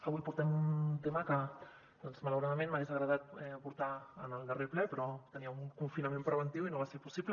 avui portem un tema que doncs malauradament m’hagués agradat portar en el darrer ple però tenia un confina·ment preventiu i no va ser possible